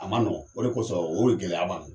A ma nɔgɔ, o de kosɔn, o de gɛlɛya b'an na.